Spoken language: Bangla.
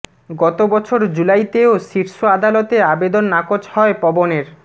গত বছর জুলাইতেও শীর্ষ আদালতে আবেদন নাকচ হয় পবনের